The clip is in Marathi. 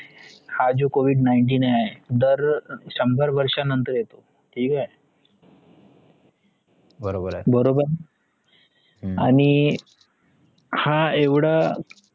हा जो covid nineteen आहे दर शंभर वर्षा नंतर येतो ठीक आहे बरोबर आणि हा येवढ